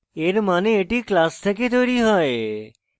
এর means এটি class থেকে তৈরী হয়